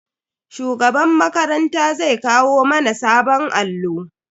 Shugaban makaranta zai kawo mana sabon allo.